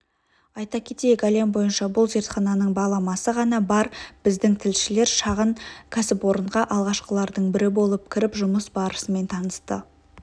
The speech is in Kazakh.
айта кетейік әлем бойынша бұл зертхананың баламасы ғана бар біздің тілшілер шағын кәсіпорынға алғашқылардың бірі болып кіріп жұмыс барысымен танысты